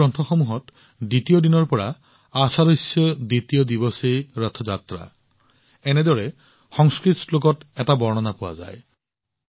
আমাৰ গ্ৰন্থসমূহত দ্বিতীয় দিনৰ পৰা আষাদাস্য ৰথ যাত্ৰা এনেদৰে সংস্কৃত শ্লোকত এটা বৰ্ণনা পোৱা যায়